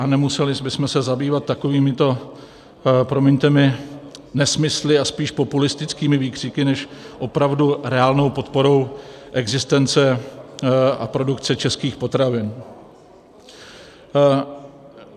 A nemuseli bychom se zabývat takovýmito, promiňte mi, nesmysly a spíš populistickými výkřiky než opravdu reálnou podporou existence a produkce českých potravin.